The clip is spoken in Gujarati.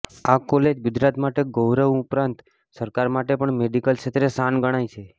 આ કોલેજ ગુજરાત માટે ગૌરવ ઉપરાંત સરકાર માટે પણ મેડિકલ ક્ષેત્રે શાન ગણાય છે